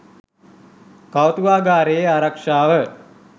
කෞතුකාගාරයේ ආරක්ෂාව